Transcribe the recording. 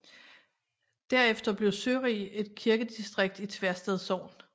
Derefter blev Sørig et kirkedistrikt i Tversted Sogn